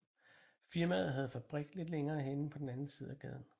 Firmaet havde fabrik lidt længere henne på den anden side af gaden